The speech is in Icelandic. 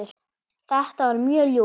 Þetta var mjög ljúft.